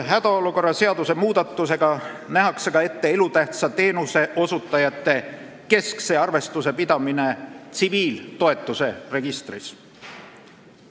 Hädaolukorra seaduse muudatusega nähakse ka ette elutähtsa teenuse osutajate keskse arvestuse pidamine tsiviiltoetuse registris.